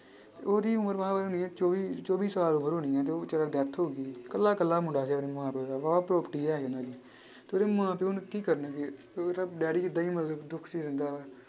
ਉਹਦੀ ਉਮਰ ਮਸਾਂ ਹੋਣੀ ਹੈ ਚੌਵੀ ਚੌਵੀ ਸਾਲ ਉਮਰ ਹੋਣੀ ਹੈ ਤੇ ਉਹ ਬੇਚਾਰਾ death ਹੋ ਗਈ ਇਕੱਲਾ ਇਕੱਲਾ ਮੁੰਡਾ ਸੀ ਆਪਣੇ ਮਾਂ ਪਿਓ ਦਾ ਤੇ ਉਹਦੇ ਮਾਂ ਪਿਓ ਕੀ ਕਰਨਗੇ, ਉਹਦਾ ਡੈਡੀ ਏਦਾਂ ਹੀ ਮਤਲਬ ਦੁੱਖ 'ਚ ਰਹਿੰਦਾ ਵਾ।